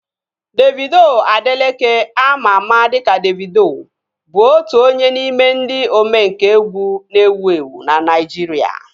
Davido Adeleke ama ama dịka Davido bụ otu onye n'ime ndị omenkà egwu na-ewu ewu na Naijiria